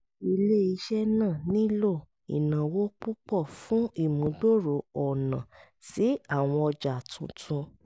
ilé-iṣẹ́ náà nílò ìnáwó púpọ̀ fún ìmúgbòòrò ọ̀nà sí àwọn ọjà tuntun